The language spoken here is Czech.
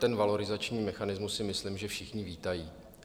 Ten valorizační mechanismus, si myslím, že všichni vítají.